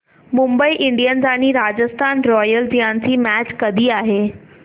Mumbai Indians आणि Rajasthan Royals यांची match कधी आहे